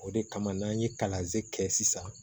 O de kama n'an ye kalansen kɛ sisan